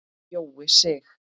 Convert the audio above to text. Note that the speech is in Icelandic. Jói Sig.